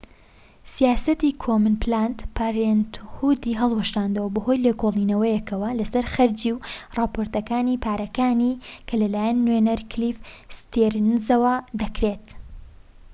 سیاسەتی کۆمن پلاند پارێنتهودی هەڵوەشاندەوە بەهۆی لێکۆڵینەوەیەکەوە لەسەر خەرجی و راپۆرتەکانی پارەکانی کە لەلایەن نوێنەر کلیف ستیرنزەوە دەکرێت